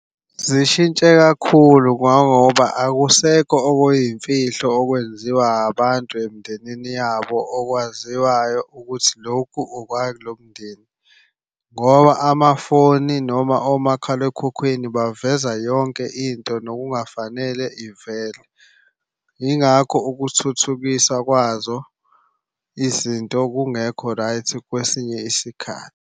Zishintshe kakhulu ngangoba akusekho okuyimfihlo okwenziwa abantu emndenini yabo okwaziwayo ukuthi lokhu okwakulo mndeni, ngoba amafoni noma omakhalekhukhwini baveza yonke into nokungafanele ivele. Yingakho ukuthuthukisa kwazo izinto kungekho right kwesinye isikhathi.